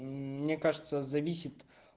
мне кажется зависит